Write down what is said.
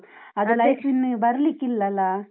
Life ಇನ್ನು ಬರ್ಲಿಕ್ಕಿಲ್ಲಲಾ?